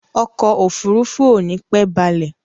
Ọkọ̀ òfurufú ò nípẹ́ balẹ̀.